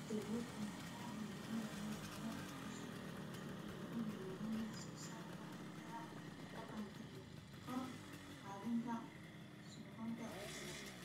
Jaaliyado badan ayaa hirgalinaya beero beesha si ay u horumariyaan wax soo saarka cuntada deegaanka iyo kor u qaadida sugnaanta cuntada.